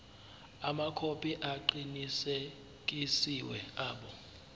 amakhophi aqinisekisiwe abo